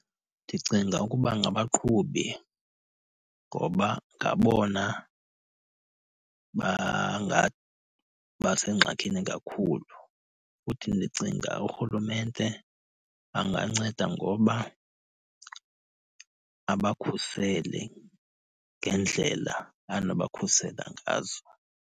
Ndicinga ukuba ngabaqhubi ngoba ngabona bangathi bangabasengxakini kakhulu. Futhi ndicinga urhulumente anganceda ngoba abakhusele ngeendlela anoba khusela ngazo.